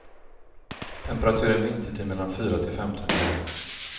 Temperaturen vintertid mellan fyra till femton grader.